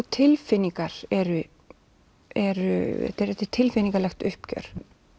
tilfinningar eru eru þetta er tilfinningalegt uppgjör